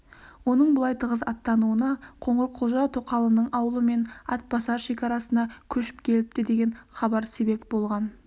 оның бұлай тығыз аттануына қоңырқұлжа тоқалының аулымен атбасар шекарасына көшіп келіпті деген хабар себеп болған